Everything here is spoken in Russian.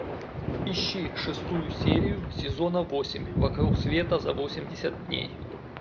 ищи шестую серию сезона восемь вокруг света за восемьдесят дней